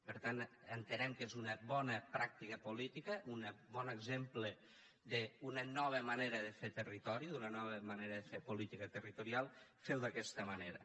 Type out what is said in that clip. per tant entenem que és una bona pràctica política un bon exemple d’una nova manera de fer territori d’una nova manera de fer política territorial ferho d’aquesta manera